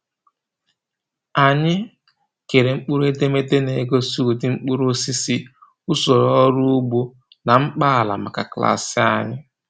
Anyị kere mkpụrụedemede na-egosi ụdị mkpụrụosisi, usoro ọrụ ugbo, na mkpa ala maka klaasị anyị.